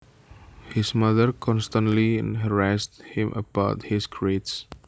His mother constantly harassed him about his grades